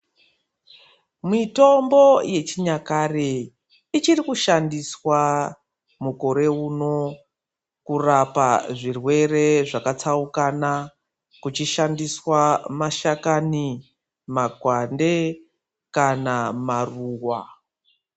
Mitombo yechinyakare ichiri kushandiswa mukore uno kurapa zvirwere zvakatsaukana kuchishandiswa mashakani makwande kana maruwa.